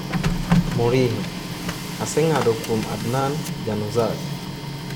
Mourinho: a seng'ado kuom Adnan Januzaj